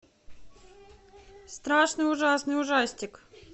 страшный ужасный ужастик